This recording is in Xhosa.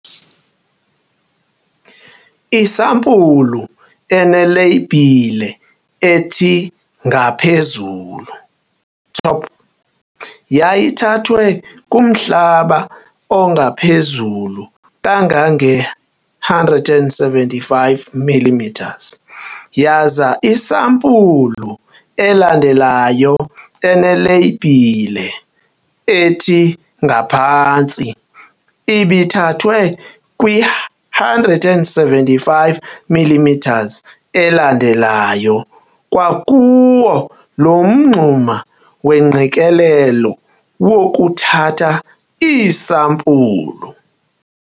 Isampulu eneleyibhile ethi Ngaphezulu, Top, yayithathwe kumhlaba ongaphezulu kangange-175 mm yaza isampulu elandelayo eneleyibhile ethi Ngaphantsi ibithathwe kwi-175 mm elandelayo kwakuwo loo mngxuma wengqikelelo wokuthatha iisampulu.